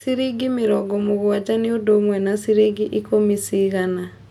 ciringi mĩrongo mũgwaja ni ũndũ ũmwe na ciringi ikũmi cĩgana